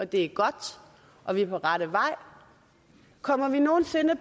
det er godt og vi er på rette vej kommer vi nogen sinde